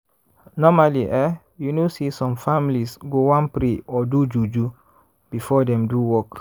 normally eh you know say some families go wan pray or do juju before dem do work.